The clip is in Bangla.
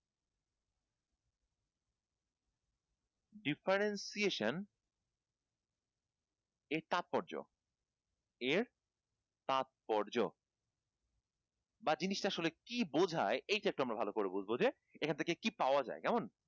differentiation এর তাৎপর্য, এর তাৎপর্য বা জিনিস টা আসলে কি বুঝায় এটা একটু আমরা ভাল করে বুঝবো যে এখান থেকে কি পাওয়া যায়